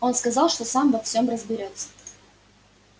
он сказал что сам во всём разберётся